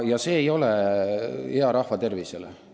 Ja see ei ole rahva tervisele hea.